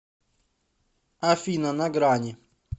афина на грани